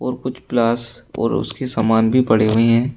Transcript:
और कुछ प्लास और उसके सामान भी पड़े हुए हैं।